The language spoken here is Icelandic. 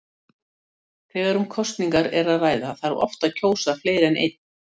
Þegar um kosningar er að ræða þarf oft að kjósa fleiri en einn.